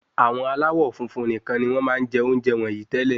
Àwọn aláwọ̀ funfun nikan ni won máa n je ounjẹ wọnyii tẹ́lẹ̀